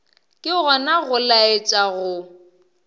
ke gona go laetša go